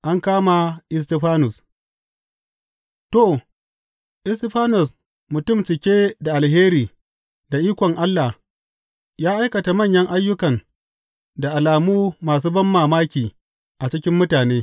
An kama Istifanus To, Istifanus, mutum cike da alheri da ikon Allah, ya aikata manyan ayyukan da alamu masu banmamaki a cikin mutane.